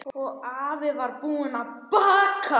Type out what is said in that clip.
Og afi var búinn að baka.